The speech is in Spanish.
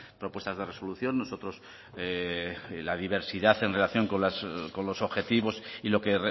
propuestas de resolución nosotros la diversidad en relación con los objetivos y lo que